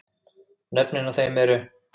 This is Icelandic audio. Nöfnin á þeim eru